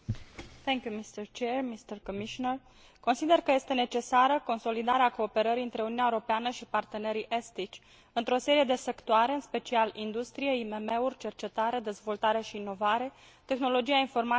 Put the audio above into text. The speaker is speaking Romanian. Consider că este necesară consolidarea cooperării între Uniunea Europeană și partenerii estici într o serie de sectoare, în special industrie, IMM uri, cercetare, dezvoltare și inovare, tehnologia informațiilor și comunicațiile și turismul.